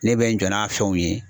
Ne bɛ n jɔ n'a fɛnw ye